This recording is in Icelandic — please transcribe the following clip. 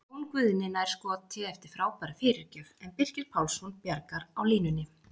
Jón Guðni nær skoti eftir frábæra fyrirgjöf en Birkir Pálsson bjargar á línunni!